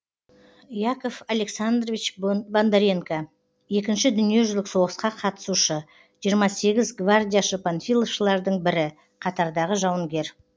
яков александрович бондаренко екінші дүниежүзілік соғысқа қатысушы жиырма сегіз гвардияшы панфиловшылардың бірі катардағы жауынгер